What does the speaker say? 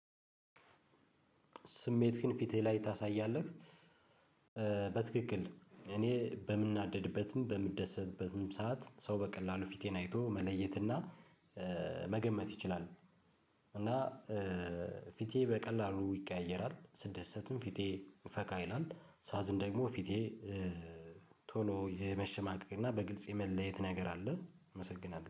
ስሜትህን ፊትህ ላይ ታሳያለህ? በትክክል እኔ በምናደድበትም በምደሰትበትም ሰዓት ሰው በቀላሉ ፊቴን አይቶ መለየትና መገመት ይችላል። እና ፊቴ በቀላሉ ይቀያየራል ስደሰትም ፊቴ ፈካ ይላል ሳዝን ደግሞ ፊቴ። ቶሎ የመሸማቀቅ እና በግልጽ የመለየት ነገር አለ። አመሰግናለሁ